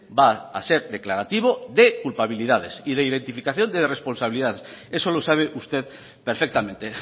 va a ser declarativo de culpabilidades y de identificación de responsabilidades eso lo sabe usted perfectamente